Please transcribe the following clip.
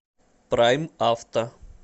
прайм авто